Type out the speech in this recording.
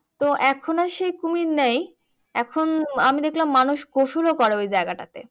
তো এখন আর সেই কুমির নেই। এখন আমি দেখলাম মানুষ গোসলও করে ওই জায়গাটাতে।